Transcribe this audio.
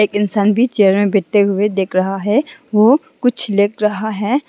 इंसान भी चेयर में बैठे हुए दिख रहा है वो कुछ लिख रहा है।